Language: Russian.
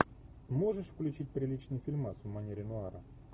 можешь включить приличный фильмас в манере нуара